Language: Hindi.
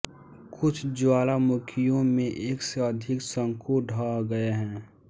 कुछ ज्वालामुखियों में एक से अधिक शंकु ढह गए हैं